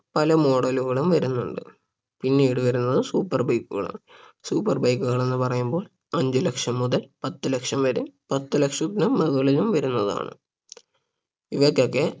പല model ലുകളും വരുന്നുണ്ട് പിന്നീട് വരുന്നത് super bike കളാണ് super bike കൾ എന്ന് പറയുമ്പോ അഞ്ച് ലക്ഷം മുതൽ പത്ത് ലക്ഷം വരെ പത്ത് ലക്ഷത്തിന് മുകളിലും വരുന്നതാണ് ഇവയ്ക്കൊക്കെ